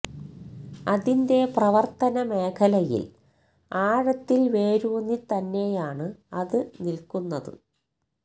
അതിന്റെ പ്രവർത്തന മേഖലയിൽ ആഴത്തിൽ വേരൂന്നി തന്നെയാണ് അത് നില്കുന്നത്